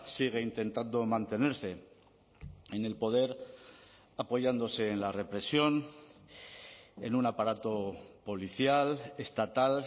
sigue intentando mantenerse en el poder apoyándose en la represión en un aparato policial estatal